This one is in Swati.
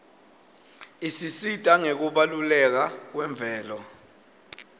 isisita ngekubaluleka kwemvelo